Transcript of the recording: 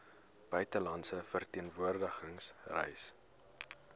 buitelandse verteenwoordiging reise